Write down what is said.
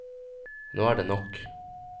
Nå er det nok!